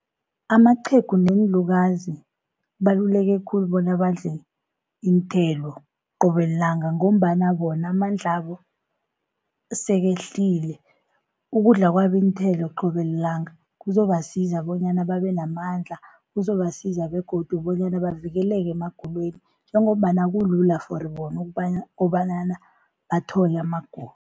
Amaqhegu neenlukazi, kubaluleke khulu bona badle iinthelo qobe lilanga, ngombana bona amandla wabo sekehlile. Ukudla kwabo iinthelo qobe lilanga kuzobasiza bonyana babe namandla, kuzobasiza begodu bonyana bavikeleke emagulweni, njengombana kulula for bona kobana bathole amagulo.